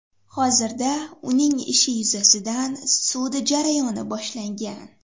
Hozirda uning ishi yuzasidan sud jarayoni boshlangan.